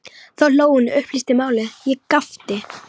Þá hló hún og upplýsti málið, ég gapti.